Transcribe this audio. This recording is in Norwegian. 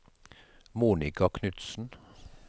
Monica Knutsen